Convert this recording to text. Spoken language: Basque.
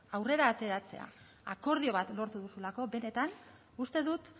aurrera ateratzea akordio bat lortu duzulako benetan uste dut